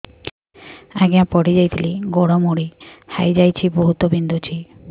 ଆଜ୍ଞା ପଡିଯାଇଥିଲି ଗୋଡ଼ ମୋଡ଼ି ହାଇଯାଇଛି ବହୁତ ବିନ୍ଧୁଛି